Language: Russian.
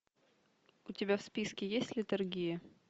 у тебя в списке есть летаргия